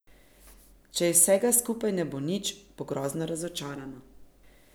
Če iz vsega skupaj ne bo nič, bo grozno razočarana.